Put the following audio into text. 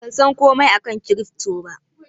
Ban san komai akan kirifto ba.